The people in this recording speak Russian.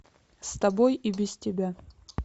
с тобой и без тебя